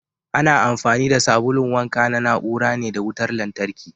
Ana amfani da sabulun wanka na na ura ne da wutar lantarki.